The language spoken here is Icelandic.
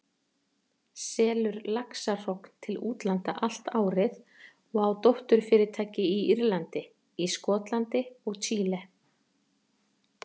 selur laxahrogn til útlanda allt árið og á dótturfyrirtæki á Írlandi, í Skotlandi og Chile.